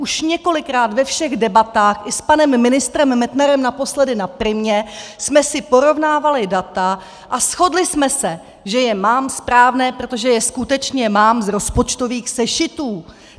Už několikrát ve všech debatách i s panem ministrem Metnarem naposledy na Primě jsme si porovnávali data a shodli jsme se, že je mám správná, protože je skutečně mám z rozpočtových sešitů.